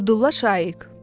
Abdulla Şaiq.